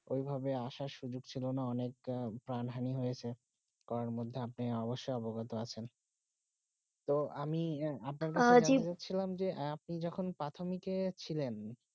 ওই ভাবে আসা সুযোগ ছিল না অনেক প্রাণহানি হয়েছে করোনা মধ্যে আপনি অবসয়ে অবগত আচেন তো আমি অআপনা কে বল ছিলাম যে আপনি যখন প্রাথিমকে ছিলেন